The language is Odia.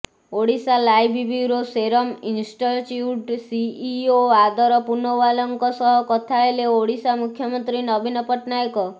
ଓଡ଼ିଶାଲାଇଭ୍ ବ୍ୟୁରୋ ସେରମ ଇନଷ୍ଟଚ୍ୟୁଟ୍ ସିଇଓ ଆଦର ପୁନୱାଲାଙ୍କ ସହ କଥା ହେଲେ ଓଡ଼ିଶା ମୁଖ୍ୟମନ୍ତ୍ରୀ ନବୀନ ପଟ୍ଟନାୟକ